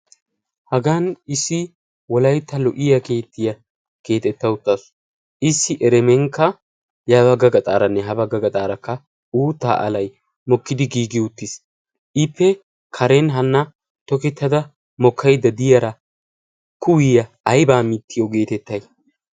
hagan issi wolaytta issi ahho kamee biyonne yiyyo iogee des. ha kaame biyonne yiyo ogiyan dozati tokettidosona, ha dozati kaamiyawukka asawukka dumma dumma kuwaa imees.